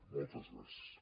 moltes gràcies